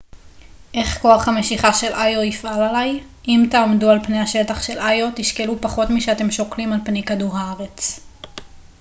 איך כוח המשיכה של איו יפעל עליי אם תעמדו על פני השטח של איו תשקלו פחות משאתם שוקלים על פני כדור הארץ